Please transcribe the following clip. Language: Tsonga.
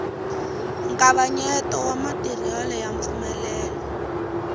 nkavanyeto wa matirhelo ya mpfumelelo